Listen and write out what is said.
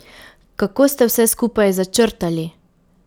Kako ste vse skupaj začrtali?